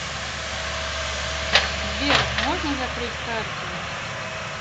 сбер можно закрыть карту